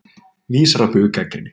Vísar á bug gagnrýni